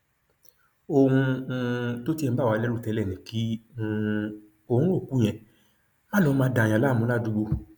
ohun um tó tiẹ ń bà wá lẹrù tẹlẹ ni kí um oòrùn òkú yẹn má lọọ máa dààyàn láàmú ládùúgbò